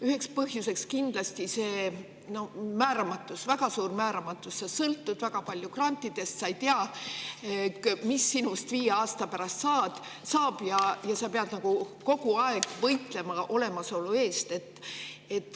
Üks põhjus on kindlasti määramatus, väga suur määramatus: sa sõltud väga palju grantidest, sa ei tea, mis sinust viie aasta pärast saab, ja sa pead kogu aeg võitlema olemasolu eest.